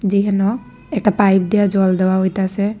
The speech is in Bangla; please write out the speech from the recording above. যেইহানো একটা পাইপ দিয়া জল দেওয়া হইতাছে।